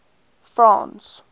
france